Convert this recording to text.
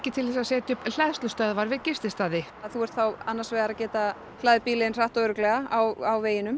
til þess að setja upp hleðslustöðvar við gististaði þú átt þá annars vegar að geta hlaðið bílinn þinn hratt og örugglega á veginum